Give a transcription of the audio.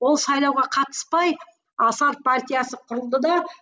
ол сайлауға қатыспай асар партиясы құрылды да